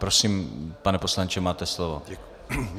Prosím, pane poslanče, máte slovo.